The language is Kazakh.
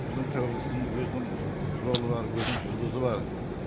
біздің тәуелсіздігіміз өзінің жолы бар өзінің жұлдызы бар